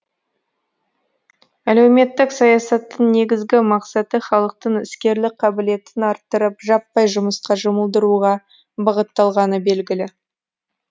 әлеуметтік саясаттың негізгі мақсаты халықтың іскерлік қабілетін арттырып жаппай жұмысқа жұмылдыруға бағытталғаны белгілі